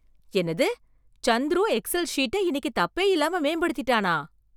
என்னது! சந்துரு எக்ஸெல் சீட்ட இன்னைக்கு தப்பே இல்லாம மேம்படுத்திட்டானா.